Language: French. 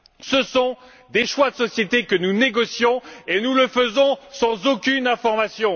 Ce sont des choix de société que nous négocions, et nous le faisons sans aucune information.